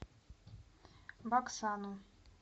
баксану